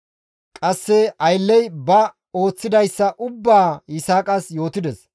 Qasse ayllezi ba ooththidayssa ubbaa Yisaaqas yootides.